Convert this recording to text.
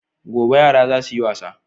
Gobe yara ra za su yi wasa.